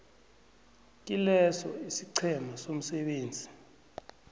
kileso isiqhema somsebenzi